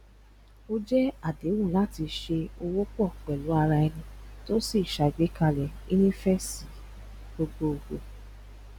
o jẹ àdéhùn láti se òwò pò pèlú araeni to sì ṣàgbékalẹ ìnífesi gbogbogbò